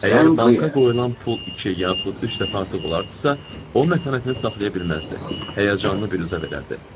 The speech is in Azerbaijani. Əgər banka qoyulan pul iki, yaxud üç dəfə artıq olardısa, o mətanətini saxlaya bilməzdi, həyəcanlı bir üzə verərdi.